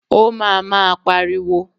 Ó ma máa pariwo.